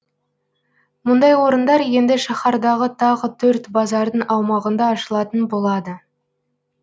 мұндай орындар енді шаһардағы тағы төрт базардың аумағында ашылатын болады